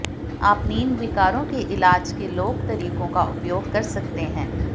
आप नींद विकारों के इलाज के लोक तरीकों का उपयोग कर सकते हैं